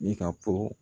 Ne ka fɔ